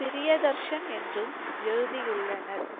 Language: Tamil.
பிரியதர்ஷன் என்றும் எழுதியுள்ளனர்.